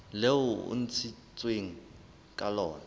leo e ntshitsweng ka lona